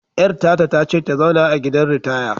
Yar tata ta ce ta zauna a gidan ritaya!